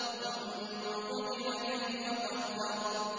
ثُمَّ قُتِلَ كَيْفَ قَدَّرَ